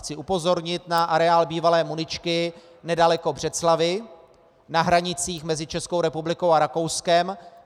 Chci upozornit na areál bývalé muničky nedaleko Břeclavi na hranicích mezi Českou republikou a Rakouskem.